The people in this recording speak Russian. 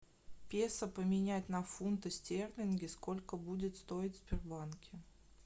песо поменять на фунты стерлинги сколько будет стоить в сбербанке